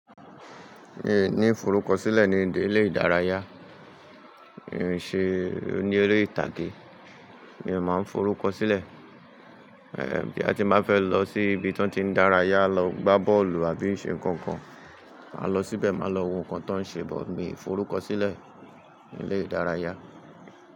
Mi ò ní forúkọ sílẹ̀ ní ilé ìdárayá, mi ò ń ṣe oní ere ìtàgé, mi ò máa ń forúkọ sílẹ̀. Boya ti n bá fẹ́ lọ sí ibi tọ́ n ti ń dárayá, lọ gbá bọ́ọ̀lù àbí ń ṣe nǹkan kan, máa lọ síbẹ̀, máa lọ wo nǹkan tó ń ṣe bọ mi n forúkọ sílẹ̀ ní ilé ìdárayá.